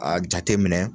A jate minɛ